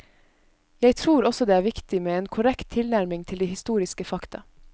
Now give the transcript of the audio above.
Jeg tror også det er viktig med en korrekt tilnærming til de historiske fakta.